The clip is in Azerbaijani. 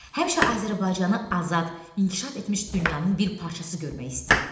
Həmişə Azərbaycanı azad, inkişaf etmiş dünyanın bir parçası görmək istəyib.